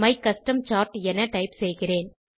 my custom chart என type செய்கிறேன்